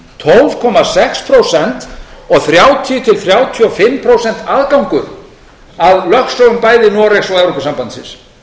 tólf komma sex prósent og þrjátíu til þrjátíu og fimm prósent aðgangur að lögsögum bæði noregs og evrópusambandsins